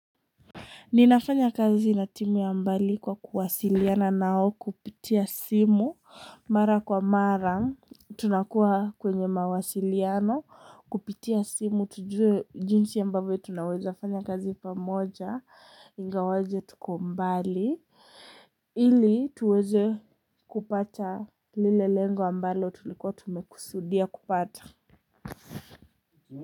Ninafanya kazi na timu ya mbali kwa kuwasiliana nao kupitia simu, mara kwa mara, tunakuwa kwenye mawasiliano, kupitia simu, tujue jinsi ya ambavyo tunaweza fanya kazi pamoja, ingawaje tuko mbali, ili tuweze kupata lile lengo ambayo tulikuwa tumekusudia kupata.